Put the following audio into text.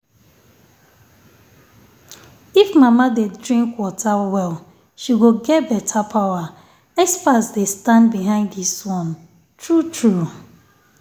if um mama dey drink um water well she go get better power. experts dey um stand behind this one… true-true.